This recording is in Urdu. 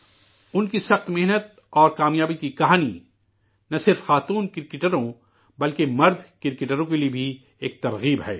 ان کی سخت جانفشانی اور کامیابی کی کہانی، نہ صرف خواتین کرکٹروں، بلکہ، مرد کرکٹروں کے لیے بھی ایک ترغیب ہے